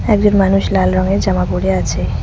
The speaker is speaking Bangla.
একজন মানুষ লাল রঙের জামা পড়ে আছে।